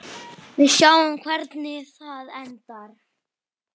Við sjáum hvernig það endar.